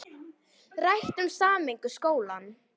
Rætt um sameiningu skóla